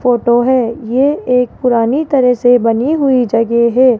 Photo है ये एक पुरानी तरह से बनी हुई जगह है।